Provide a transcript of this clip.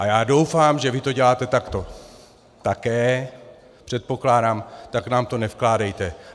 A já doufám, že vy to děláte takto také, předpokládám, tak nám to nevkládejte.